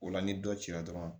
O la ni dɔ cira dɔrɔn